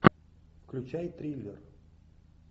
включай триллер